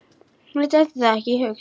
Mér dettur það ekki í hug.